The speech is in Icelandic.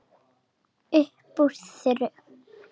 Upp úr þurru.